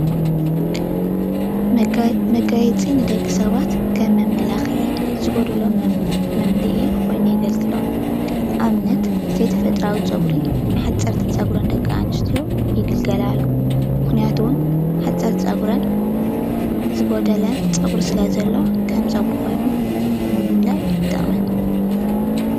መጋየፂ ንደቂ ሰባት ከም መመላክዒ ዝጎደሎም መምልኢ ኮይኑ የግልግሎም አብነት ዘይተፈጠራዊ ፀጉሪ ንሓፀርቲ ፀጉረን ደቂ አንስትዮ ይግልገላሉ ምክንያቱ እውን ሓፀርቲ ፀጉረን ዝጎደለን ፀጉሪ ስለ ዘሎ ከም ፀጉሪ ኮይኑ ንምምላእ ይጠቅመን።